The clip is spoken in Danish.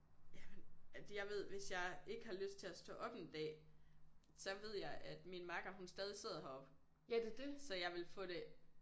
Jamen at jeg ved hvis jeg ikke har lyst til at stå op en dag så ved jeg at min makker hun stadig sidder heroppe så jeg ville få det